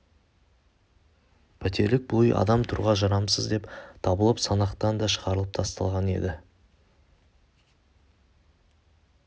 пәтерлік бұл үй адам тұруға жарамсыз деп табылып санақтан да шығарылып тасталған еді